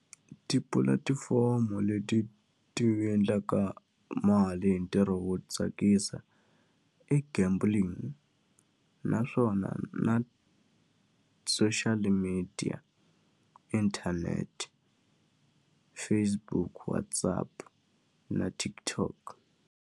Tipulatifomo leti ti endlaka mali hi ntirho wo tsakisa i gambling naswona na social media, internet, Facebook, WhatsApp na TikTok.